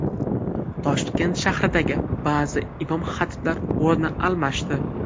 Toshkent shahridagi ba’zi imom-xatiblar o‘rni almashdi.